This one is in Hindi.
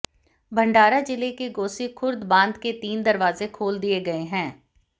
भंडारा जिले के गोसीखुर्द बांध के तीन दरवाजे खोल दिए गए हैं